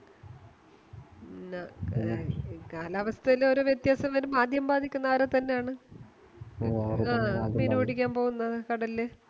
കാലാവസ്ഥയിലോരോ വ്യത്യാസം വരുമ്പോ ആദ്യം ബാധിക്കുന്നെ ആരെത്തന്നെയാണ് മീൻ പിടിക്കാൻ പോകുന്ന കടലില്